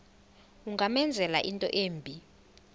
ungamenzela into embi